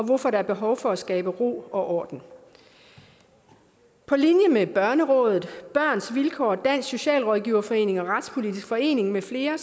hvorfor der er behov for at skabe ro og orden på linje med børnerådet børns vilkår dansk socialrådgiverforening og retspolitisk forening med flere